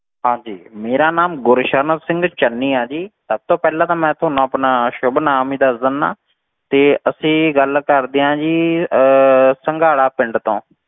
ਹਾਂਜੀ ਮੇਰਾ ਨਾਮ ਗੁਰਸ਼ਰਨ ਸਿੰਘ ਚੰਨੀ ਆ ਜੀ, ਸਭ ਤੋਂ ਪਹਿਲਾਂ ਤਾਂ ਮੈਂ ਤੁਹਾਨੂੰ ਆਪਣਾ ਸੁੱਭ ਨਾਮ ਹੀ ਦੱਸ ਦਿਨਾ, ਤੇ ਅਸੀਂ ਗੱਲ ਕਰਦੇ ਹਾਂ ਜੀ ਅਹ ਸੰਘਾੜਾ ਪਿੰਡ ਤੋਂ,